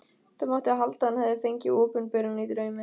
Það mátti halda að hann hefði fengið opinberun í draumi.